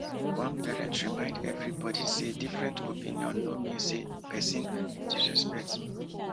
one parent remind everybody say different opinion no mean say person dey disrespect